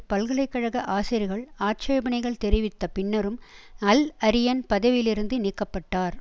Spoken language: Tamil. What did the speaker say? பல்கலை கழக ஆசிரியர்கள் ஆட்சேபனைகள் தெரிவித்த பின்னரும் அல்அரியன் பதவியிலிருந்து நீக்க பட்டார்